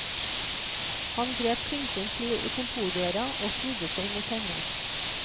Han grep klinken til kontordøra og snudde seg mot henne.